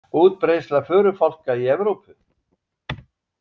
Útbreiðsla förufálka í Evrópu.